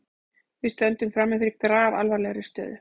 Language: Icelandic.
Við stöndum frammi fyrir grafalvarlegri stöðu